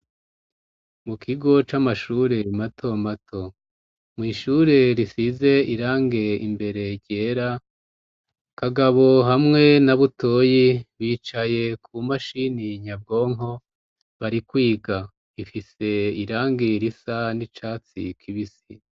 mu kigo c'amashure mato mato mwishure risize irangi imbere ryera kagabo hamwe na butoyi bicaye ku mashini nyabwonko bari kwiga ifise irangi risa n'icatsi kibisi